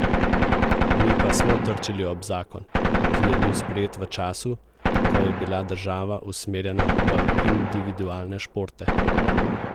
Mi pa smo trčili ob zakon, ki je bil sprejet v času, ko je bila država usmerjena v individualne športe.